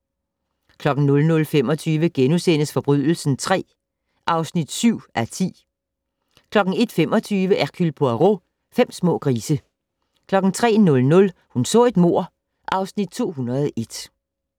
00:25: Forbrydelsen III (7:10)* 01:25: Hercule Poirot: Fem små grise 03:00: Hun så et mord (Afs. 201)